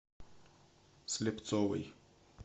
слепцовой